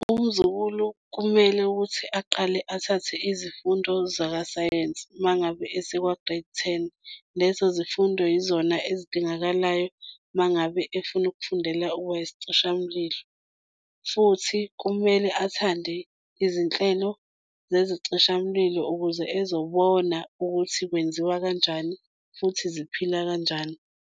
Umzukulu kumele ukuthi aqale athathe izifundo zakasayensi uma ngabe esekwa-Grade Ten. Lezo zifundo yizona ezidingakalayo uma ngabe efuna ukufundela ukuba yisichishamlilo futhi kumele athande izinhlelo zezicishamlilo ukuze ezobona ukuthi kwenziwa kanjani, futhi ziphila kanjani.